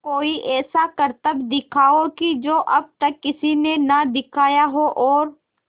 कोई ऐसा करतब दिखाओ कि जो अब तक किसी ने ना दिखाया हो और